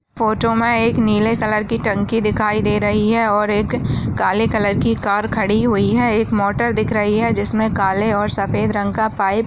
photo मे एक नीले कलर की टंकी दिखाई दे रही है और एक काले कलर की कार खड़ी हुई है एक मोटर दिख रही है जिसमे काले और सफ़ेद रंग का पाइप --